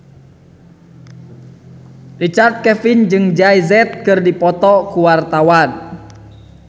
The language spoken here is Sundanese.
Richard Kevin jeung Jay Z keur dipoto ku wartawan